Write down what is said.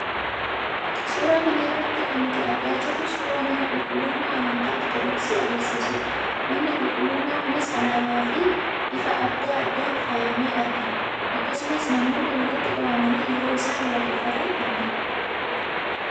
Suuraa kana irratti kan nuti argaa jirru, suuraa mana qulqullummaa amantaa Ortodoksii agarsiisudha. Manni qulqullummaan kunis alaabaa fi ifa adda addaan faayamee argina. Akkasumas, namoonni walitti qabamanii yeroo isaan waaqeffatan argina.